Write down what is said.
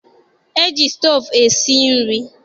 E ji stoovu esi nri.